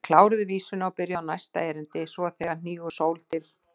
Þau kláruðu vísuna og byrjuðu á næsta erindi: SVO ÞEGAR HNÍGUR SÓL TIL